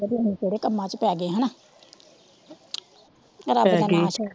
ਅਸੀ ਕਿਹੜੇ ਕੰਮਾਂ ਚ ਪੈ ਗਏ ਹੇਨਾ ਰੱਬ ਦਾ ਨਾ ਛੱਡ ਕੇ